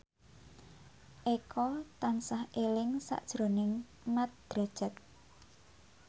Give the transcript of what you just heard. Eko tansah eling sakjroning Mat Drajat